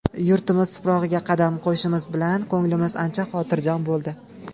Yurtimiz tuprog‘iga qadam qo‘yishimiz bilan ko‘nglimiz ancha xotirjam bo‘ldi.